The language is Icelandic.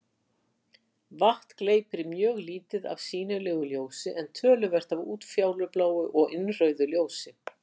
Vatn gleypir mjög lítið af sýnilegu ljósi en töluvert af útfjólubláu og innrauðu ljósi.